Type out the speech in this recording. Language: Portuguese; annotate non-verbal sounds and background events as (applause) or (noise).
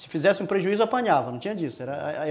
Se fizesse um prejuízo, apanhava, não tinha disso (unintelligible)